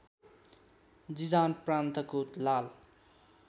Jizan प्रान्तको लाल